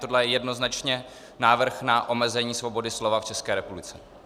Tohle je jednoznačně návrh na omezení svobody slova v České republice.